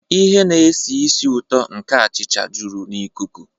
Ihe na-esi ísì ụtọ nke achịcha juru n'ikuku.